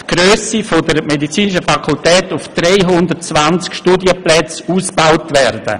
Die Grösse der Medizinischen Fakultät soll von 125 Studienplätzen auf 320 Studienplätze ausgebaut werden.